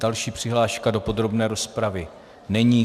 Další přihláška do podrobné rozpravy není.